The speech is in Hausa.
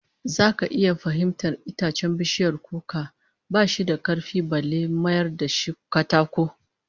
Zaka iya fahimtar itacen bishiyar kuka ba shi da karfi balle a mayar da shi katako